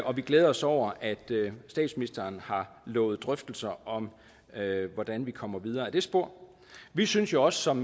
og vi glæder os over at statsministeren har lovet drøftelser om hvordan vi kommer videre ad det spor vi synes jo også som